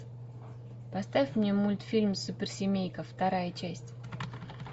поставь мне мультфильм суперсемейка вторая часть